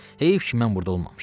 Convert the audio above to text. Heyf ki, mən burda olmamışam.